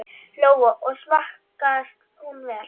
Lóa: Og smakkast hún vel?